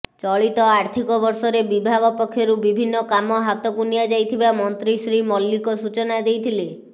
ଚଳିତ ଆର୍ଥିକ ବର୍ଷରେ ବିଭାଗ ପକ୍ଷରୁ ବିଭିନ୍ନ କାମ ହାତକୁ ନିଆଯାଇଥିବା ମନ୍ତ୍ରୀ ଶ୍ରୀ ମଲ୍ଲିକ ସୂଚନା ଦେଇଥିଲେ